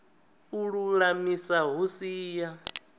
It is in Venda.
u lulamisa hu si ya